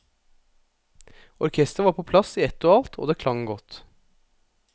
Orkestret var på plass i ett og alt, og det klang godt.